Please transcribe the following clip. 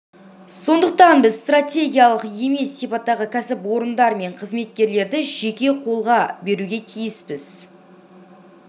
сондықтан біз стратегиялық емес сипаттағы кәсіпорындар мен қызметтерді жеке қолға беруге тиіспіз